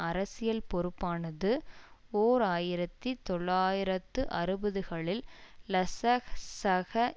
அரசியல் பொறுப்பானது ஓர் ஆயிரத்தி தொள்ளாயிரத்து அறுபதுகளில் லசசக